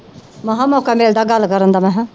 ਮਸਾਂ ਮੌਕਾ ਮਿਲਦਾ ਗੱਲ ਕਰਨ ਦਾ ਮੈਂ ਕਿਹਾ।